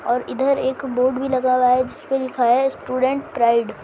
और इधर एक बोर्ड भी लगा हुआ है जिस पे लिखा है स्टूडेंट्स प्राइड ।